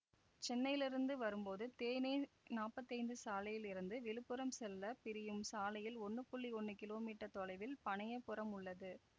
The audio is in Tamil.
சென்னையிலிருந்து வரும்போது தேநெ நாப்பத்தி ஐந்து சாலையில் இருந்து விழுப்புரம் செல்ல பிரியும் சாலையில் ஒன்னு புள்ளி ஒன்னு கிலோ மீட்டர் தொலைவில் பனையபுரம் உள்ளது